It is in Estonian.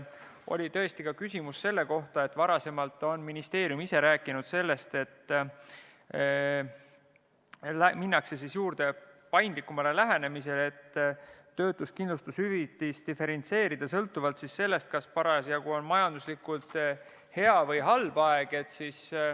Oli tõesti küsimus selle kohta, et varem on ministeerium ise rääkinud sellest, et minnakse paindlikumale lähenemisele, et töötuskindlustushüvitist kavatsetakse diferentseerida sõltuvalt sellest, kas parasjagu on majanduslikult hea või halb aeg.